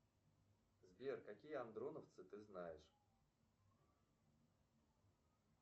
сбер какие андроновцы ты знаешь